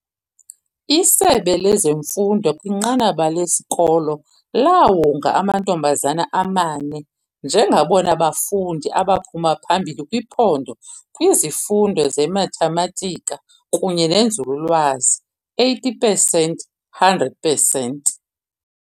Isebe lezemfundo kwinqanaba lesikolo laawonga amantombazana amane njengabona bafundi abaphuma phambili kwiphondo kwizifundo zeMathematika kunye neNzululwazi, 80 pesenti 100 pesenti.